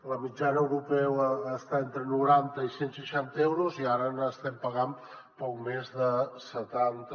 la mitjana europea està entre noranta i cent seixanta euros i ara n’estem pagant poc més de setanta